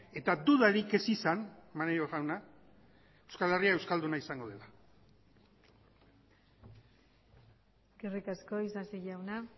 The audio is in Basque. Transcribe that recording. eta dudarik ez izan maneiro jauna euskal herria euskalduna izango dela eskerrik asko isasi jauna